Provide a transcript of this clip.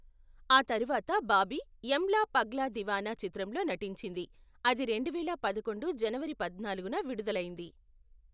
ఆ తర్వాత బాబీ యమ్లా పగ్లా దీవానా చిత్రంలో నటించింది, అది రెండువేల పదకొండు జనవరి పద్నాలుగున విడుదలైంది.